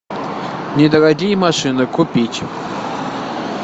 недорогие машины купить